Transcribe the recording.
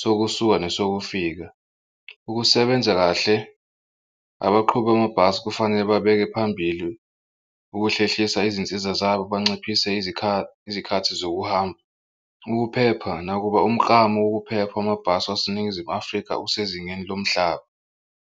sokusuka nesokufika. Ukusebenza kahle abaqhuba amabhasi kufanele babeke phambili ukuhlehlisa izinsiza zabo banciphise izikhathi zokuhamba. Ukuphepha nakuba umklamo wokuphepha amabhasi waseNingizimu Afrika usezingeni lomhlaba.